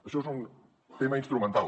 això és un tema instrumental